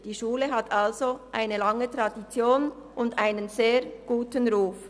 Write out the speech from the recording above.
Die Schule hat also eine lange Tradition und einen sehr guten Ruf.